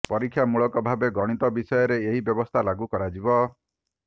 ପରୀକ୍ଷାମୂଳକ ଭାବେ ଗଣିତ ବିଷୟରେ ଏହି ବ୍ୟବସ୍ଥା ଲାଗୁ କରାଯିବ